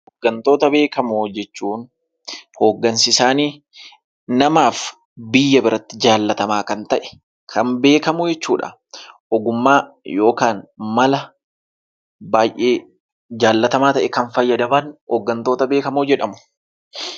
Hooggantoota beekamoo jechuun hooggansi isaanii namaa fi biyya biratti jaallatamaa kan ta'e kan beekamu jechuudha. Ogummaa yookaan mala baay'ee jaallatamaa ta'e kan fayyadaman hooggantoota beekamoo jedhamu.